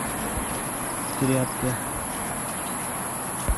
тряпка